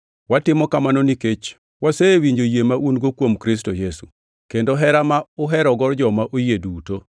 watimo kamano nikech wasewinjo yie ma un-go kuom Kristo Yesu, kendo hera ma uherogo joma oyie duto,